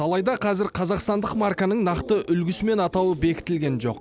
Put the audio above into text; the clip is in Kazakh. алайда қазір қазақстандық марканың нақты үлгісі мен атауы бекітілген жоқ